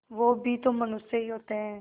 वे भी तो मनुष्य ही होते हैं